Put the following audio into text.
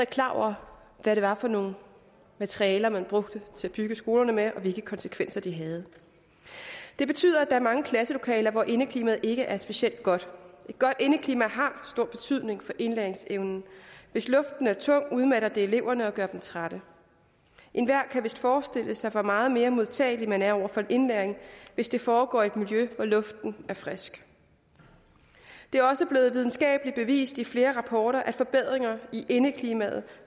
klar over hvad det var for nogle materialer man brugte til at bygge skolerne med og hvilke konsekvenser det havde det betyder at der er mange klasselokaler hvor indeklimaet ikke er specielt godt et godt indeklima har stor betydning for indlæringsevnen hvis luften er tung udmatter det eleverne og gør dem trætte enhver kan vist forestille sig hvor meget mere modtagelig man er over for indlæring hvis den foregår i et miljø hvor luften er frisk det er også blevet videnskabeligt bevist i flere rapporter at forbedringer i indeklimaet